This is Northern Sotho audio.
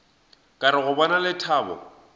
ka re go bona lethabo